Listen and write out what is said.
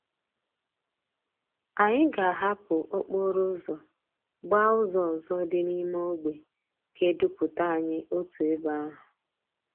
Anyi ga ahapú okporo úzò gbaa úzò òzò di n'ime ogbe ga eduputa anyi otu ebe ahú.